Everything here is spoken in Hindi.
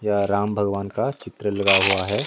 यह राम भगवान का चित्र लगा हुआ हैं।